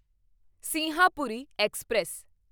Sinhapuri express